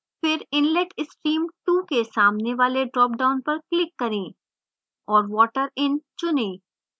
फिर inlet stream 2 के सामने वाले dropdown पर click करें